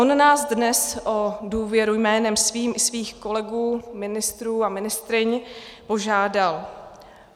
On nás dnes o důvěru jménem svým i svých kolegů ministrů a ministryň požádal.